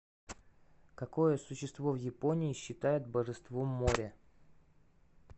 какое существо в японии считают божеством моря